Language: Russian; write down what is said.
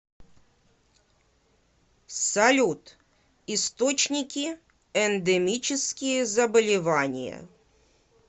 салют источники эндемические заболевания